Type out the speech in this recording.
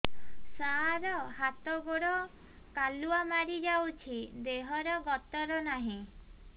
ସାର ହାତ ଗୋଡ଼ କାଲୁଆ ମାରି ଯାଉଛି ଦେହର ଗତର ନାହିଁ